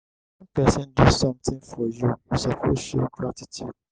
wen pesin do sometin for you you suppose show gratitude.